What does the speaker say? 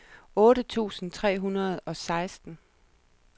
otte tusind tre hundrede og seksten